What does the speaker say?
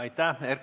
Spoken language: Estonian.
Aitäh!